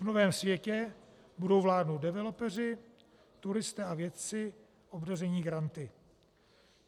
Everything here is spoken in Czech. V novém světě budou vládnout developeři, turisté a vědci obdaření granty.